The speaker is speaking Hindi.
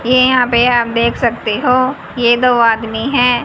ये यहां पे आप देख सकते हो ये दो आदमी हैं।